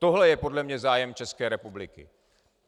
Tohle je podle mě zájem České republiky.